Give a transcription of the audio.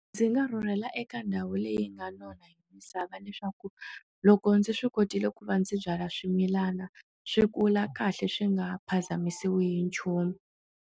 Ndzi nga rhurhela eka ndhawu leyi nga nona hi misava leswaku loko ndzi swi kotile ku va ndzi byala swimilana swi kula kahle swi nga phazamisiwe hi nchumu.